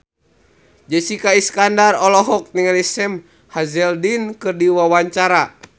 Jessica Iskandar olohok ningali Sam Hazeldine keur diwawancara